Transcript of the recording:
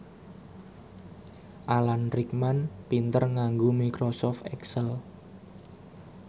Alan Rickman pinter nganggo microsoft excel